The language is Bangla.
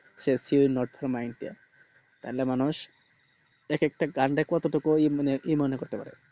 she is not for mind তাহলে মানুষ একেকটা গান রে কত টুকুই কি মনে করতে পারে